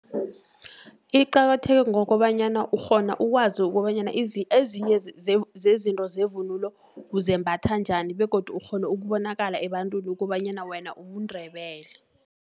Iqakatheke ngokobanyana, ukghona ukwazi ukobanyana ezinye zezinto zevunulo zembathwa njani, begodu ukghoeu ukubonakala ebantwini ukobanyana wena umNdebele.